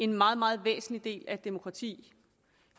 meget meget væsentlig del af et demokrati